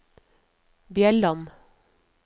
Bjelland